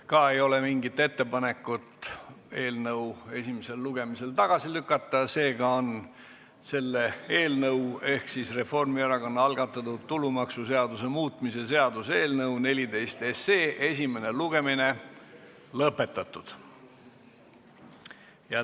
Ka ei ole ettepanekut eelnõu esimesel lugemisel tagasi lükata, seega on selle eelnõu ehk Reformierakonna algatatud tulumaksuseaduse muutmise seaduse eelnõu 14 esimene lugemine lõpetatud.